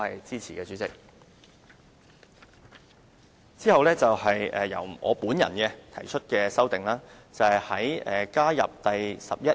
之後是由我本人提出的修訂，目的是加入第 11A 條。